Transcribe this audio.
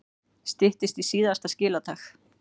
Styttist í síðasta skiladag